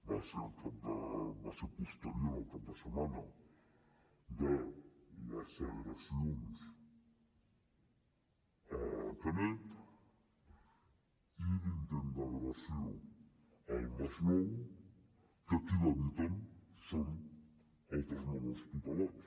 va ser posterior al cap de setmana de les agressions a canet i l’intent d’agressió al masnou que qui l’evita són altres menors tutelats